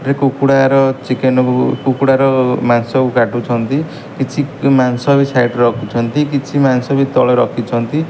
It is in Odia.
ଏ କୁକୁଡ଼ା ର ଚିକେନ୍ କୁ କୁକୁଡ଼ା ର ମାଂସ କୁ କାଟୁଛନ୍ତି କିଛି ମାଂସ ବି ସାଇଟ ରେ ରଖୁଛନ୍ତି କିଛି ମାଂସ ବି ତଳେ ରଖିଛନ୍ତି।